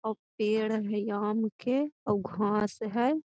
अ पेड़ हेय आम के उ घास हेय।